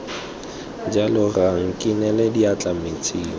jalo rra nkinele diatla metsing